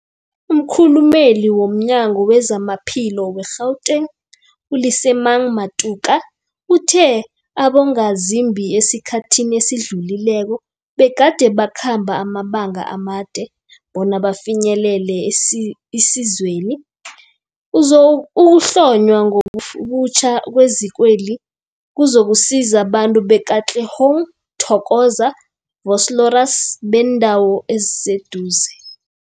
Umkhulumeli womNyango weZamaphilo we-Gauteng, u-Lesemang Matuka uthe abongazimbi esikhathini esidlulileko begade bakhamba amabanga amade bona bafinyelele isizweli. Ukuhlonywa ngobutjha kwezikweli kuzokusiza abantu be-Katlehong, Thokoza, Vosloorus nebeendawo eziseduze.